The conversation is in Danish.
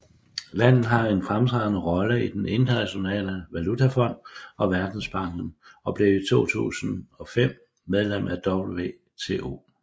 Landet har en fremtrædende rolle i den Internationale Valutafond og Verdensbankgruppen og blev i 2005 medlem af WTO